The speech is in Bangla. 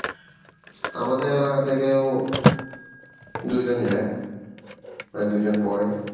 আমাদের এলাকা থেকেও দুই জন যাই মানে দুই জন পড়ে